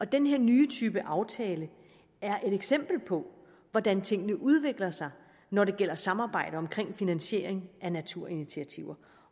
den her nye type aftale er et eksempel på hvordan tingene udvikler sig når det gælder samarbejde omkring finansiering af naturinitiativer